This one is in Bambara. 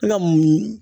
Ne ka munumunu